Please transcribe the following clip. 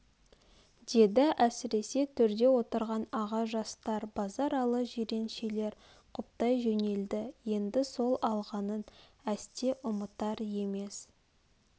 деді әсресе төрде отырған аға жастар базаралы жиреншелер құптай жөнелді енді сол алғанын әсте ұмытар емес